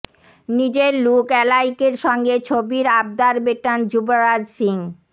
নিজের লুক অ্যালাইকের সঙ্গে ছবির আবদার মেটান যুবরাজ সিং